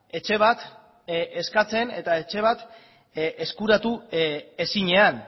etxe bat eskatzen eta etxe bat eskuratu ezinean